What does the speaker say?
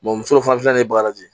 muso fana filɛ nin ye bagaji